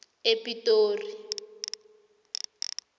epitori